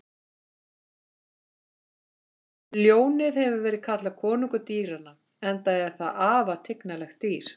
Ljónið hefur verið kallað konungur dýranna enda er það afar tignarlegt dýr.